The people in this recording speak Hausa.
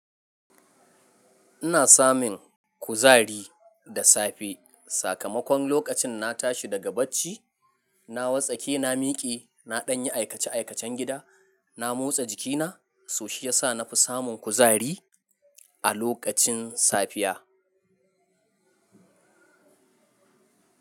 Ina samun kuzari da safe. Sakamakon lokacin na tashi daga bacci, na wartsake, na miƙe, na ɗanyi aikace-aikacen gida, na motsa jikina so shi yasa na fi samun kuzari a lokacin safiya.